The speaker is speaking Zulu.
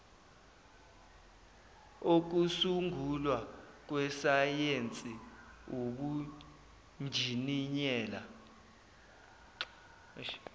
okusungulwa kwesayensi ubunjiniyela